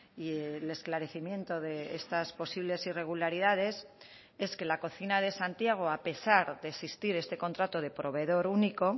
y el esclarecimiento de estas posibles irregularidades es que la cocina de santiago a pesar de existir este contrato de proveedor único